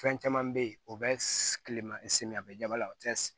Fɛn caman bɛ yen o bɛ kileman siri a bɛ daba la o tɛ